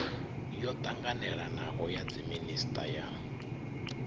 yo ṱanganelanaho ya dziminisiṱa ya